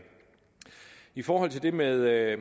i forhold til det med at